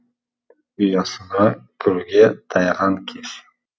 ұясына кіруге таяған кез